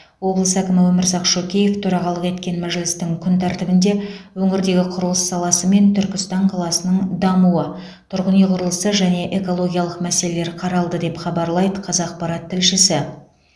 облыс әкімі өмірзақ шөкеев төрағалық еткен мәжілістің күн тәртібінде өңірдегі құрылыс саласы мен түркістан қаласының дамуы тұрғын үй құрылысы және экологиялық мәселелер қаралды деп хабарлайды қазақпарат тілшісі